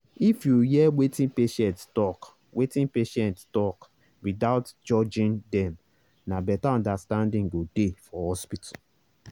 if you hear wetin patient talk wetin patient talk without judging dem na better understanding go dey for hospital.